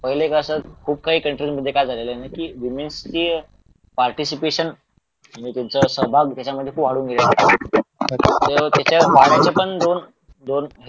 पहिले कसं खुप कंट्री काय झालेले म्हणजे विमेन्स चे पार्टीसिपेशन म्हणजे त्यांचा सहभाग खुप वाढून गेलेला